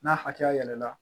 N'a hakɛya yɛlɛla